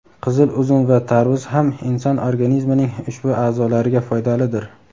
qizil uzum va tarvuz ham inson organizmining ushbu a’zolariga foydalidir.